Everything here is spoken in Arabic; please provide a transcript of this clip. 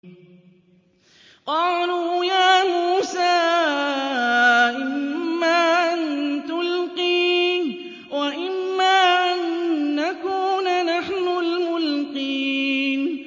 قَالُوا يَا مُوسَىٰ إِمَّا أَن تُلْقِيَ وَإِمَّا أَن نَّكُونَ نَحْنُ الْمُلْقِينَ